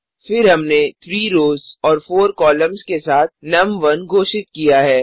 फिर हमने 3 रोज़ और 4 कॉलम्स के साथ नुम1 घोषित किया है